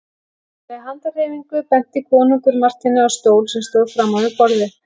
Með handarhreyfingu benti konungur Marteini á stól sem stóð framan við borðið.